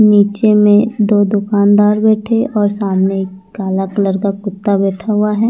नीचे में दो दुकानदार बैठे हैं और सामने एक काला कलर का कुत्ता बैठा हुआ है।